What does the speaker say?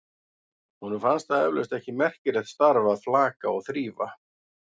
Honum finnst það eflaust ekki merkilegt starf að flaka og þrífa.